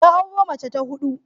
Ya auro mace ta hudu.